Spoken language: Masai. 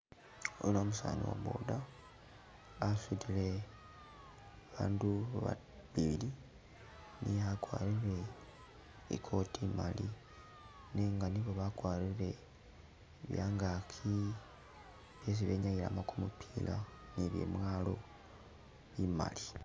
Oyuno umusani wa boda asutile bandu babili niye akwarire i'coat imali, nenga nibo bakwarire byangaaki isi benyayilamu kumupila nibyamwalo bimali.